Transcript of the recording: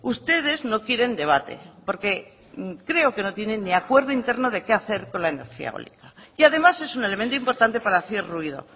ustedes no quieren debate porque creo que no tienen ni acuerdo interno de qué hacer con la energía eólica y además es un elemento importante para hacer ruido